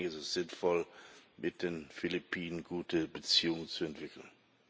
Deswegen ist es sinnvoll, mit den Philippinen gute Beziehungen zu entwickeln.